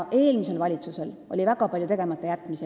Eelmisel valitsusel oli väga palju tegematajätmisi.